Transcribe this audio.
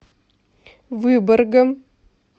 выборгом